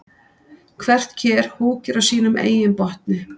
Hvert ker húkir á sínum eigin botni.